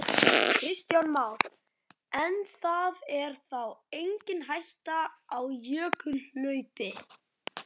Kristján Már: En það er þá engin hætta á jökulhlaupi?